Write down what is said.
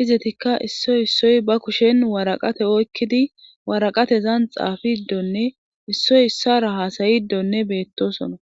izetikka issoy issoy ba kushen waraqate oykkidi waraqatezan xaafiiddonne issoy issara haasayidonne beettosona